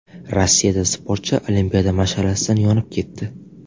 Rossiyada sportchi olimpiada mash’alasidan yonib ketdi.